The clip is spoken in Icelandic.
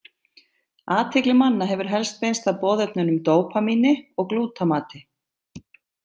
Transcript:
Athygli manna hefur helst beinst að boðefnunum dópamíni og glútamati.